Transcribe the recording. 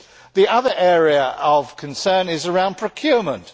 The other area of concern is around procurement.